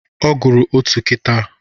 Ọ gụrụ otu kịta